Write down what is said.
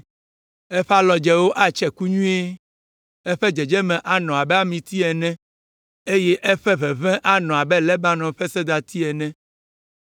Eƒe alɔdzewo atse nyuie, eƒe dzedzeme anɔ abe amiti ene, eye eƒe ʋeʋẽ anɔ abe Lebanon ƒe sedati ene.